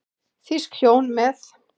Þýsk hjón með